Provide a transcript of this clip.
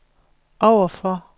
overfor